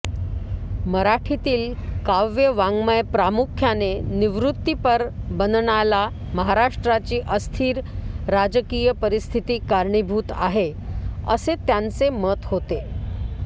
मराठीतील काव्यवाङ्मय प्रामुख्याने निवृत्तिपर बनण्याला महाराष्ट्राची अस्थिर राजकीय परिस्थिती कारणीभूत आहे असे त्यांचे मत होते